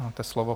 Máte slovo.